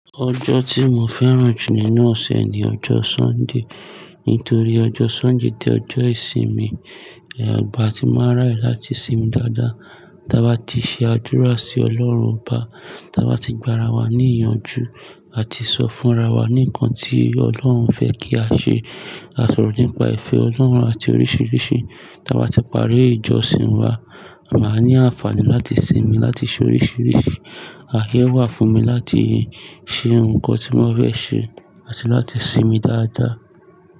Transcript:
Ọjọ́ tí mo fẹ́ràn jù nínú ọ̀sẹ̀ ni ọjọ́ Sunday, nítorí ọjọ́ Sunday jẹ́ ọjọ́ ìsinmi. Ẹ̀yọ̀ igbà tí máa ń raye láti sinmi dáadáa. Tà bá ti ṣe àdúrà sí Ọlọ́run ọba, tà bá ti gba ara wa ní ìyànjú, a ti sọ fún ra wa ni nnkan tí Ọlọ́run fẹ́ kí a ṣe. A sọ̀rọ̀ nípa ìfẹ́ Ọlọ́run àti oríṣiríṣi. Tà bá ti parí ìjọsìn wa, a màá ní àǹfààní láti sinmi láti ṣe oríṣiríṣi. Ààyẹ́ wà fún mi láti ṣe nǹkan tí mo fẹ́ ṣe àti láti sinmi dáadáa.